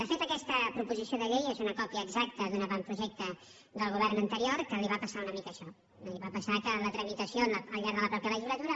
de fet aquesta proposició de llei és una còpia exac·ta d’un avantprojecte del govern anterior que li va passar una mica això li va passar que la tramitació al llarg de la mateixa legislatura